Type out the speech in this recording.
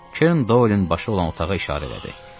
Kern Doyelin başı olan otağa işarə elədi.